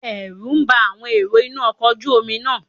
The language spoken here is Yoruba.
Ẹ̀rù bá àwọn èrò inú ọkọ̀ ojú Omi náà